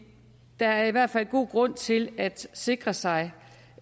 der er i hvert fald god grund til at sikre sig